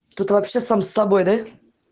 что-то вообще сам с тобой да